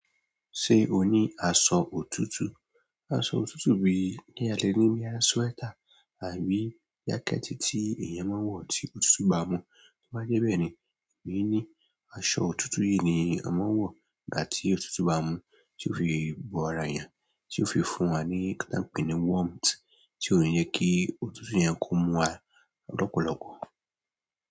Ṣe o ní asọ òtútù? Asọ òtútù ni bí k'eyan lè ní bóyá sweater àbí jacket tí èyàn maan wọ tí òtútù bá mú to bá jẹ bẹ́ẹ̀ ni, ẹmi ni asọ òtútù yí ni a máa ń wọ nígbà tí òtútù bá mú, tí ó fi bò ara ẹyan, tí ó fi fún wa ní ǹkan tán pé ni warmth, tí o jẹ kí òtútù yẹn kó mú wá lọpọlọpọ.